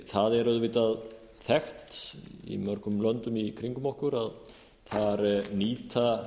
það er auðvitað þekkt í mörgum löndum í kringum okkur að þar nýta